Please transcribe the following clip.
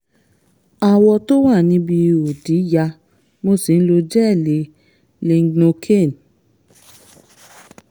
awọ tó wà níbi ihò ìdí ya mo sì ń lo jẹ́ẹ̀lì lignocaine